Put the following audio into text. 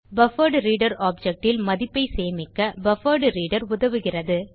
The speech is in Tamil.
பஃபர்ட்ரீடர் ஆப்ஜெக்ட் ல் மதிப்பை சேமிக்க பஃபர்ட்ரீடர் உதவுகிறது